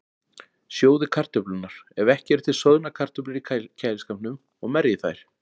Sjóðið kartöflurnar, ef ekki eru til soðnar kartöflur í kæliskápnum, og merjið þær.